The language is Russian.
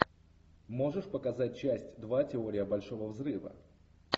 можешь показать часть два теория большого взрыва